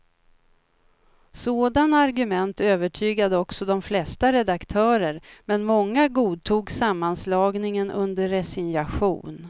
Sådana argument övertygade också de flesta redaktörer, men många godtog sammanslagningen under resignation.